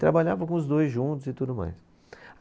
Trabalhava com os dois juntos e tudo mais.